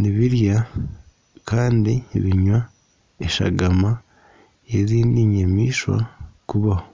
nibirya kandi binywa eshagama n'ezindi nyamaishwa kubaho.